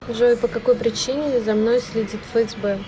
джой по какой причине за мной следит фсб